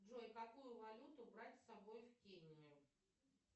джой какую валюту брать с собой в кению